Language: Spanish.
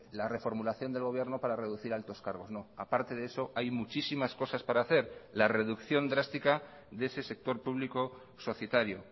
la reformulación del gobierno para reducir altos cargos no a parte de eso hay muchísimas cosas para hacer la reducción drástica de ese sector público societario